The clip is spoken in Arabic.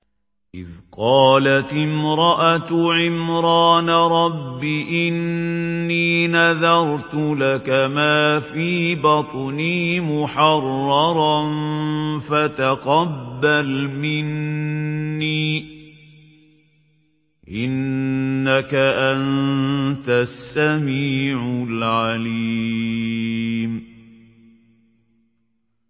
إِذْ قَالَتِ امْرَأَتُ عِمْرَانَ رَبِّ إِنِّي نَذَرْتُ لَكَ مَا فِي بَطْنِي مُحَرَّرًا فَتَقَبَّلْ مِنِّي ۖ إِنَّكَ أَنتَ السَّمِيعُ الْعَلِيمُ